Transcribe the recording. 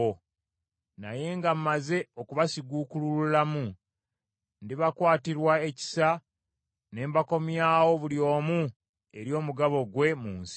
Naye nga mmaze okubasiguukululamu, ndibakwatirwa ekisa ne mbakomyawo buli omu eri omugabo gwe mu nsi ye.